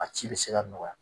A ci bɛ se ka nɔgɔya.